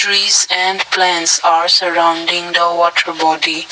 Trees and plants are surrounding the water body.